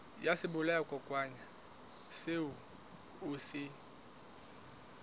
ya sebolayakokwanyana seo o se